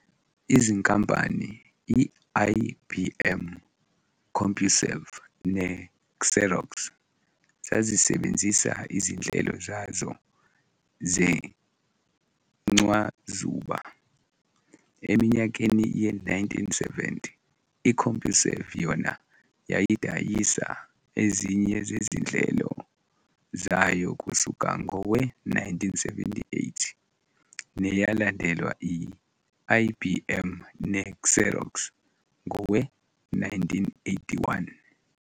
Izinkampani i-IBM, CompuServe ne-Xerox zazisebenzisa izinhlelo zazo zencwazuba eminyakeni ye-1970, i-CompuServe yona yayidayisa ezinye zezinhlelo zayo kusuka ngowe-1978 neyalandelwa i-IBM ne-Xerox ngowe-1981.